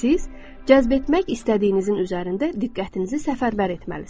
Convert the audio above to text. Siz cəzb etmək istədiyinizin üzərində diqqətinizi səfərbər etməlisiniz.